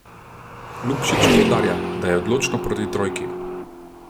Lukšič poudarja, da je odločno proti trojki.